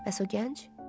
Bəs o gənc?